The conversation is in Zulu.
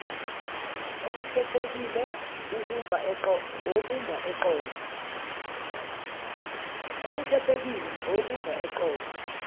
okukhethekile okumba eqolo